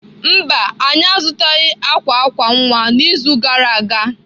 Mba, anyị azụtaghị akwa akwa nwa n'izu gara aga.